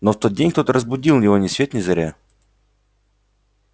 но в тот день кто-то разбудил его ни свет ни заря